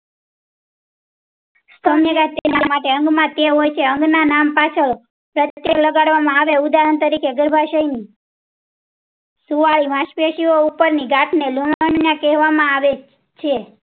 સૌમ્ય ગાંઠ તેના માટે અંગ ના ટેવ હોય છે અંગ ના નામ પાછળ એમ્રો પ્રત્યે લગાડવા માં આવે છે. ઉદાહરણ તરીકે ગર્ભાશય શુવાલ માર્ગ પેશીઓ ઉપર થી લાગેલો લિફ્ટ રોઝન કહેવા માં આવે છે.